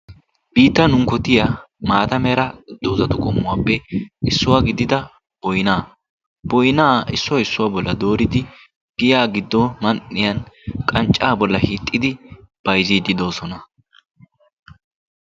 biittan unkkotiya maata mera doozatu qommuwaappe issuwaa gidida boynaa. boynaa issuwaa issuwaa bolla dooridi giya giddo man77iyan qanccaa bolla hiixxidi bayziiddi doosona.